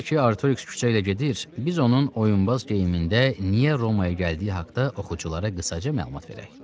Hələ ki Artoriks küçə ilə gedir, biz onun oyunbaz geyimində niyə Romaya gəldiyi haqda oxuculara qısaca məlumat verək.